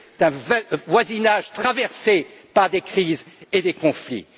C'est un voisinage traversé par des crises et des conflits.